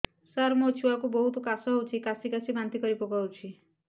ସାର ମୋ ଛୁଆ କୁ ବହୁତ କାଶ ହଉଛି କାସି କାସି ବାନ୍ତି କରି ପକାଉଛି